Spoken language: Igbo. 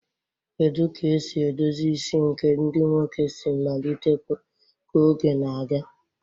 Kedu ka esi edozi isi nke ndị nwoke si malite ka oge na-aga